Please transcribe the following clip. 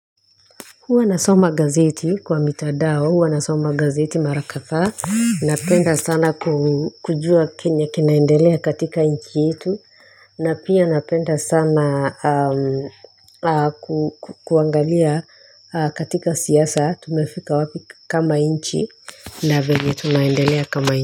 Huwa na soma gazeti kwa mitandao, huwa nasoma gazeti mara kadhaa. Napenda sana kujua kenye kinaindalia katika inchi yetu. Napia napenda sana kuangalia katika siasa tumefika wapi kama nchi na venye tunaendelea kama nchi.